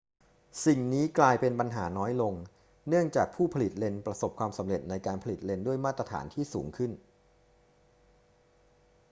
สิ่งนี้กลายเป็นปัญหาน้อยลงเนื่องจากผู้ผลิตเลนส์ประสบความสำเร็จในการผลิตเลนส์ด้วยมาตรฐานที่สูงขึ้น